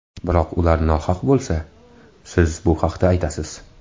Biroq ular nohaq bo‘lsa, siz bu haqda aytasiz.